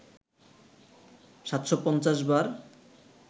৭৫০ বার